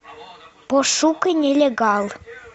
пошукай нелегал